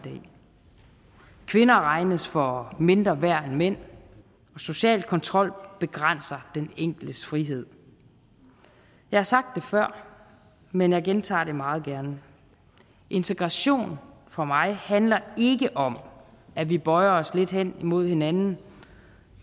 kvinder regnes for mindre værd end mænd social kontrol begrænser den enkeltes frihed jeg har sagt det før men jeg gentager det meget gerne integration for mig handler ikke om at vi bøjer os lidt hen imod hinanden